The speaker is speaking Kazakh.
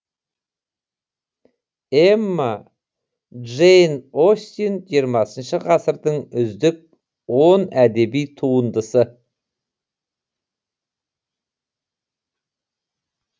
эмма джейн остин жиырмасыншы ғасырдың үздік он әдеби туындысы